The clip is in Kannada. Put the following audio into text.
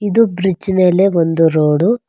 ಇದು ಬ್ರಿಜ್ ಮೇಲೆ ಒಂದು ರೋಡು.